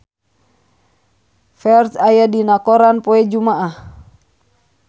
Ferdge aya dina koran poe Jumaah